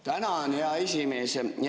Tänan, hea esimees!